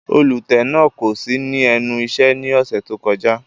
Olutẹ náa ko si ni ẹnu iṣẹ ni ọsẹ to kọja.